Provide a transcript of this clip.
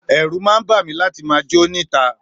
Èrù ma bami láti ma jó ni ta